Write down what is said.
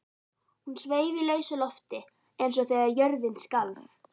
Hún sveif í lausu lofti eins og þegar jörðin skalf.